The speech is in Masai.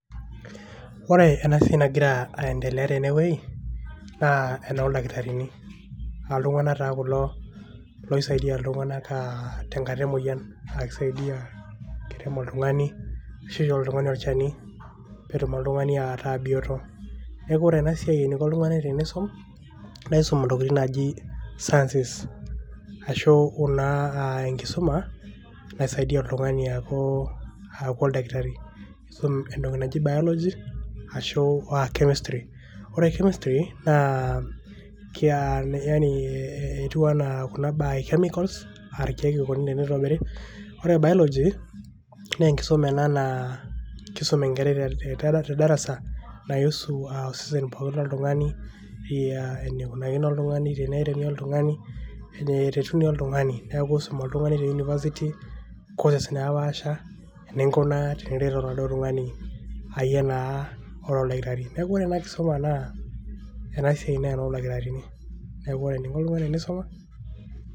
Woore enaa siai nagira aiendelea tenewueji naa endoldakitarini naa iltunganak taa kulo aisiadi iltunganak tenkata emoyian aiksaidia erem oltugani nishoori oltungani olchani netum oltungani ataa bioto neaku wore enasiai eniko oltungani peitum naisum intokiting naijio sciences aashu enkisuma naisaidiaa oltungani aaku oldakitari isum entoki naji biology aashu chemistry. Wore chemistry netiuu enaa chemicals aa ilkeek eniko entiobiri aa woore biology kisum enkerai tedarasa kuhusu osesen lotungani enikunakino oltungani enereem oltungani neretuni oltungani neaku iisuum oltungani te university naapasha ninkunaa teeniret oladuoo tung'ani iraa naduoo oldakitari, neaku woore enaa kisuma naa oldakitarini